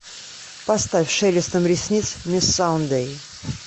поставь шелестом ресниц мисс саундэй